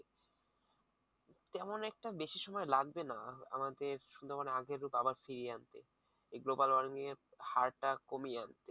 তেমন একটা বেশি সময় লাগবে না। আমাদের সুন্দরবন আগের রূপ আবার ফিরিয়ে আনতে এই global warming এর হারটা কমিয়ে আনতে